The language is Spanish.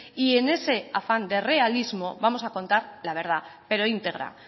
y en ese afán de realismo vamos a contar la verdad pero íntegra